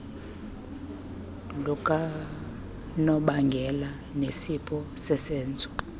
lukanobangela nesiphumo sesenzo